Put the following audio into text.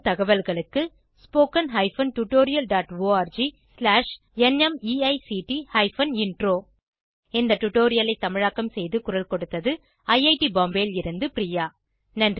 மேலும் தகவல்களுக்கு spoken hyphen tutorial dot org slash நிமைக்ட் ஹைபன் இன்ட்ரோ இந்த டுடோரியலை தமிழாக்கம் செய்து குரல் கொடுத்தது ஐஐடி பாம்பேவில் இருந்து பிரியா